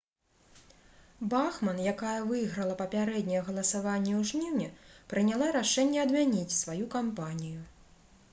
бахман якая выйграла папярэдняе галасаванне ў жніўні прыняла рашэнне адмяніць сваю кампанію